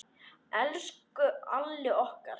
Elsku Alli okkar.